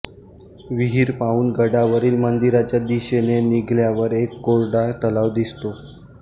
विहीर पाहून गडावरील मंदिराच्या दिशेने निघाल्यावर एक कोरडा तलाव दिसतो